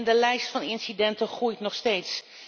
De lijst van incidenten groeit nog steeds.